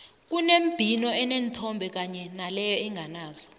kunembhino eneenthombe kanye naleyo enganazo